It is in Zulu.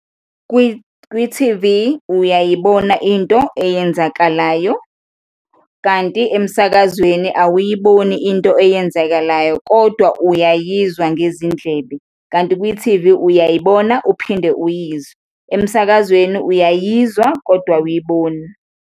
Kwi-T_V uyayibona into eyenzakalayo kanti emsakazweni awuyiboni into eyenzakalayo kodwa uyayizwa ngezindlebe, kanti kwi-T_V uyayibona uphinde uyizwe, emsakazweni uyayizwa kodwa awuyiboni.